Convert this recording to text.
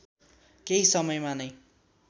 केही समयमा नै